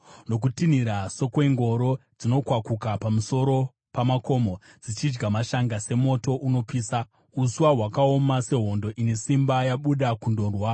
Nokutinhira sokwengoro dzinokwakuka pamusoro pamakomo dzichidya mashanga semoto unopisa uswa hwakaoma, sehondo ine simba yabuda kundorwa.